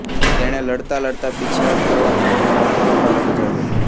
તેણે લડતાં લડતાં પીછેહઠ કરવામાં બહુ મહત્ત્વનો ભાગ ભજવ્યો